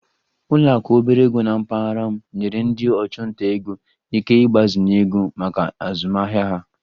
Ụlọ akụ obere ego na mpaghara m nyere ndị ọchụnta ego ike mgbazinye ego maka azụmahịa ha